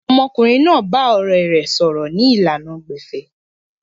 Ọmọkùnrin náà bá ọ̀rẹ̀ rẹ̀ sọ̀rọ̀ ni ìlànà gbẹ̀fẹ̀